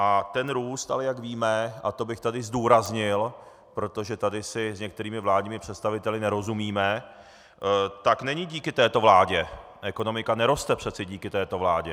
A ten růst ale, jak víme, a to bych tady zdůraznil, protože tady si s některými vládními představiteli nerozumíme, tak není díky této vládě, ekonomika neroste přece díky této vládě.